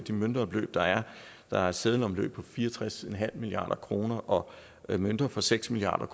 møntomløb der er der er et seddelomløb på fire og tres milliard kroner og mønter for seks milliard